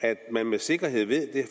at man med sikkerhed ved det